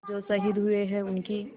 जो शहीद हुए हैं उनकी